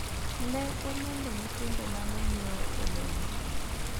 ne olwongo nyithindo mane nyiewo olemo